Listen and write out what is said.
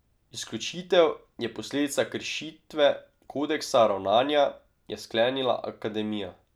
Izključitev je posledica kršitve kodeksa ravnanja, je sklenila akademija.